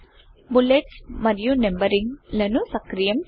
bullets మరియు numbering లను సక్రియం చేయుట